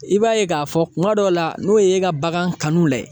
I b'a ye k'a fɔ kuma dɔw la n'o ye e ka bagan kanu lajɛ